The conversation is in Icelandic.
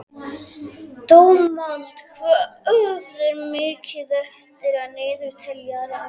Dómald, hvað er mikið eftir af niðurteljaranum?